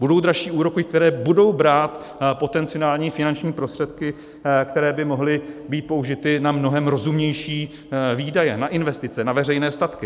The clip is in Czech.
Budou dražší úroky, které budou brát potenciální finanční prostředky, které by mohly být použity na mnohem rozumnější výdaje, na investice, na veřejné statky.